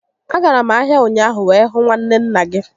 A gara m ahia ụnyaahụ wee hụ nwanne nna gị